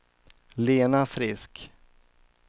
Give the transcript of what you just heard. Lena Frisk